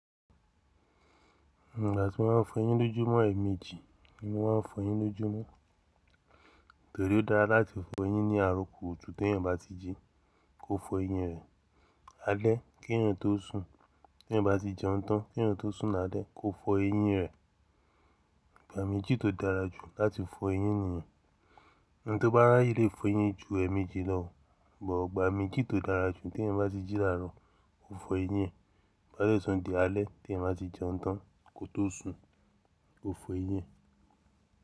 Nígbà tí wọ́n ń fọ ẹyín lójú mọ́ ẹ̀ẹ̀miji ni wọ́n ma ń fọ ẹyín lójú mo, torí ó dára láti fọ ẹyín ní àro kùu tú tí èèyàn bá ti jí kò fọ ẹyín rẹ̀, alẹ́ kí èèyàn tó sùn, tí èèyàn bá ti jẹun tán kí èèyàn tó sùn ní alẹ́ kò fọ ẹyín rẹ̀. Gbàméjì tó dára jù láti fọ ẹyín nìyen. Ẹni tí ó bá ráyè lé fọ ẹyín ju ẹ̀ẹ̀meji lọ, but igbà méjì tó dára jù tí èèyàn bá ti jí láàrọ̀ ó fọ ẹyín, bá sì tùn di alẹ́ tí èèyàn bá ti jẹun tán kó tó sùn ó fọ ẹyín.